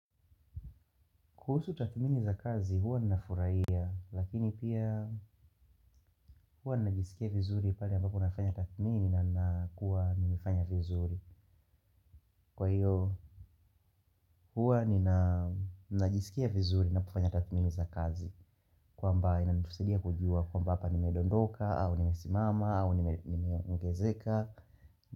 Kuhusu tatmini za kazi huwa ninafuraia lakini pia huwa ninajisikia vizuri pale ambapo nafanya tatmini na nakuwa nimefanya vizuri. Kwa hiyo huwa ninajisikia vizuri ninapofanya tathmini za kazi kwamba inanitusaidia kujua kwamba hapa nimedondoka au nimesimama au nime ongezeka.